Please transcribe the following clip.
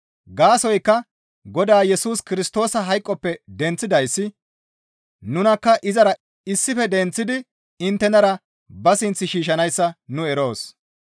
Gaasoykka Godaa Yesus Kirstoosa hayqoppe denththidayssi nunakka izara issife denththidi inttenara ba sinth shiishshanayssa nu eroos.